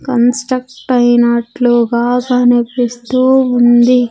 Construct అయినట్లుగా కనిపిస్తూ ఉంది.